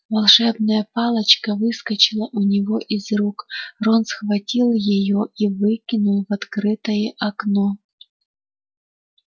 волшебная палочка выскочила у него из рук рон схватил её и выкинул в открытое окно